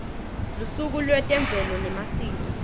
lusuku lwetemvelo nemasiko